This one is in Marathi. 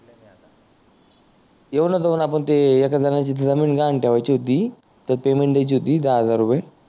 येऊ न जाऊन आयन ते एका जणाची जमीन गहाण ठेवायची होती ते पेमेंट द्यायची होती दहा हजार रुपे